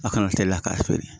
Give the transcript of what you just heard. A kana teliya k'a feere